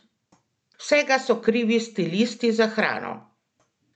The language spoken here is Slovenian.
Vsega so krivi stilisti za hrano!